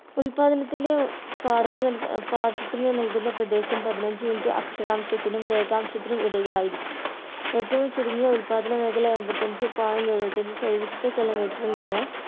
ഉല്പാദനത്തിൻ്റെ ഏർ പാടത്തു ഏർ പാട്ടത്തിന് നൽകുന്ന പ്രദേശം പതിനഞ്ചു minute അക്ഷാംശത്തിനും രേഖാംശത്തിനും ഇടയിലായിരിക്കും ഏറ്റവും ചുരുങ്ങിയ ഉൽപാദന മേഖല എൺപത്തഞ്ചു point എഴുപത്തഞ്ചു ചതുരശ്ര kilometer ൽ നിന്നും